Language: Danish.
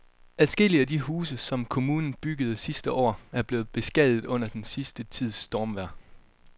Adskillige af de huse, som kommunen byggede sidste år, er blevet beskadiget under den sidste tids stormvejr.